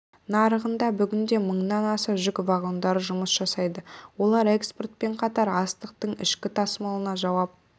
нарығында бүгінде мыңнан аса жүк вагондары жұмыс жасайды олар экспортпен қатар астықтың ішкі тасымалына жауап